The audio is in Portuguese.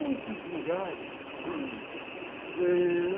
Poucos lugares